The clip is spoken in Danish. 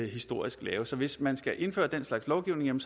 historisk lave så hvis man skal indføre den slags lovgivning